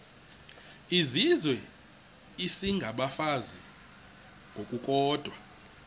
izizwe isengabafazi ngokukodwa